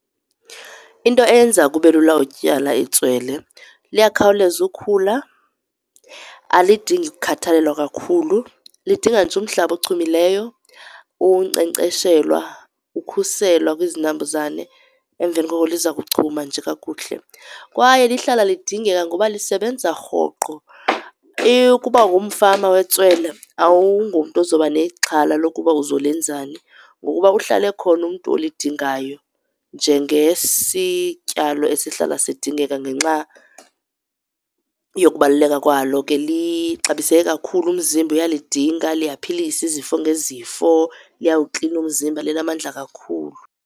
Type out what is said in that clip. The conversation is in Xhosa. Into eyenza kube lula ukutyala itswele liyakhawuleza ukhula, alidingi ukhathalelwa kakhulu. Lidinga nje umhlaba ochumileyo, unkcenkceshelwa, ukukhuselwa kwizinambuzane. Emveni koko liza kuchuma nje kakuhle. Kwaye lihlala lidingeka ngoba lisebenza rhoqo. Ukuba ngumfama wetswele awungomntu oza kuba nexhala lokuba uzolenzani, ngokuba uhlala ekhona umntu olidingayo njengesityalo esihlala sidingeka ngenxa yokubaluleka kwalo ke. Lixabiseke kakhulu, umzimba uyalidinga, liyaphilisa izifo ngezifo, liyawuklina umzimba, linamandla kakhulu.